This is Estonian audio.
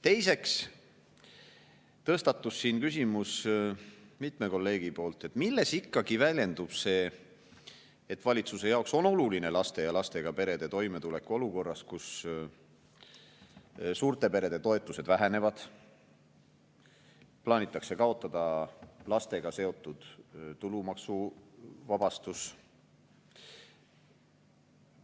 Teiseks tõstatus mitmel kolleegil küsimus, milles ikkagi väljendub see, et valitsuse jaoks on oluline laste ja lastega perede toimetulek olukorras, kus suurte perede toetused vähenevad, plaanitakse kaotada lastega seotud tulumaksuvabastus,